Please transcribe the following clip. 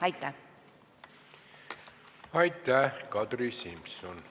Aitäh, Kadri Simson!